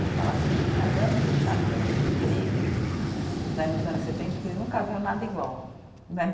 Ele fala assim, o caderno do Estadão de Empregos, né, nos anos setenta, que ele nunca viu nada igual, né de.